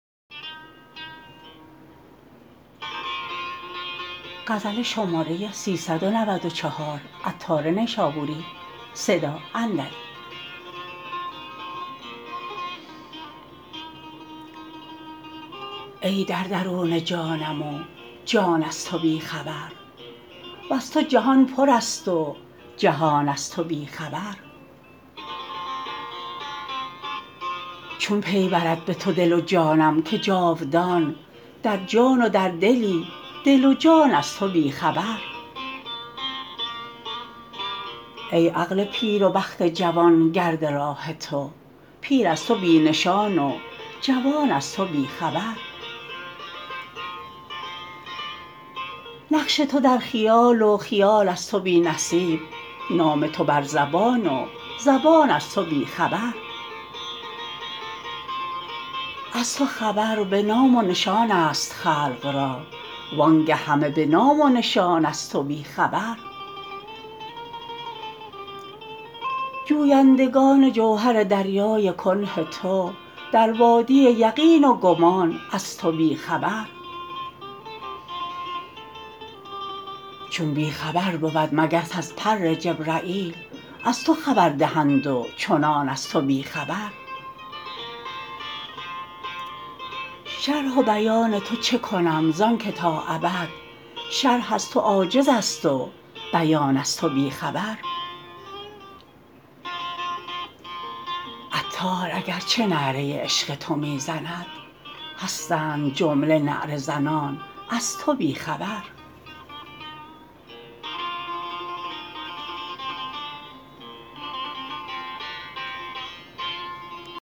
ای در درون جانم و جان از تو بی خبر وز تو جهان پر است و جهان از تو بی خبر چون پی برد به تو دل و جانم که جاودان در جان و در دلی دل و جان از تو بی خبر ای عقل پیر و بخت جوان گرد راه تو پیر از تو بی نشان و جوان از تو بی خبر نقش تو در خیال و خیال از تو بی نصیب نام تو بر زبان و زبان از تو بی خبر از تو خبر به نام و نشان است خلق را وآنگه همه به نام و نشان از تو بی خبر جویندگان جوهر دریای کنه تو در وادی یقین و گمان از تو بی خبر چون بی خبر بود مگس از پر جبرییل از تو خبر دهند و چنان از تو بی خبر شرح و بیان تو چه کنم زان که تا ابد شرح از تو عاجز است و بیان از تو بی خبر عطار اگرچه نعره عشق تو می زند هستند جمله نعره زنان از تو بی خبر